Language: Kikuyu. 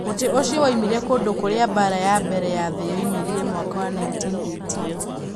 Mũtĩ ũcio woimire kũndũ kũrĩa mbaara ya mbere ya thĩ yoimĩrire mwaka wa 1918.